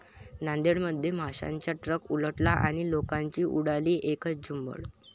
नांदेडमध्ये माशांचा ट्रक उलटला आणि लोकांची उडाली एकच झुंबड!